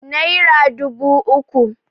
naira dubu uku